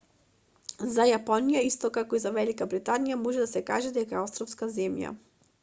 за јапонија исто како за велика британије може да се каже дека е островска земја